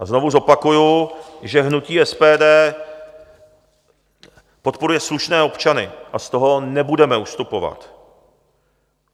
A znovu zopakuji, že hnutí SPD podporuje slušné občany, a z toho nebudeme ustupovat.